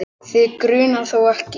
Þig grunar þó ekki?.